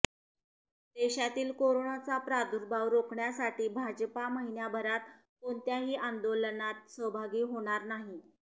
देशातील कोरोनाचा प्रादुर्भाव रोखण्यासाठी भाजपा महिन्याभरात कोणत्याही आंदोलनात सहभागी होणार नाही